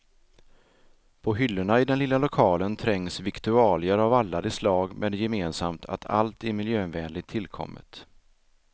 På hyllorna i den lilla lokalen trängs viktualier av alla de slag med det gemensamt att allt är miljövänligt tillkommet.